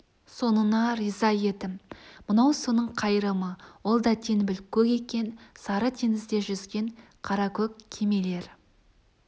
соныңа риза едім мынау соның қайырымы ол да теңбіл көк екен сары теңізде жүзген қаракөк кемелер